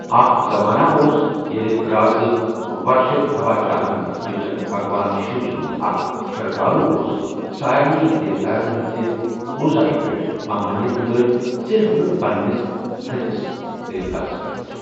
اکھ زماناہ اوس ییٚلہ رازٕ ورشدھواجا ہن یُس زن بھگوان شِو سُنٛد اکھ شردالو اوس سارنٕے دیواتاہن ہنزِ پوزایہ پیٹھ ممانیت لٲج صرف نہ پننس تٔھدِس دیوتاہس پیٚٹھ۔